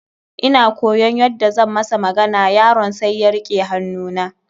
Ina koyaon yadda zan masa magana, yaron sai ya rike hannu na.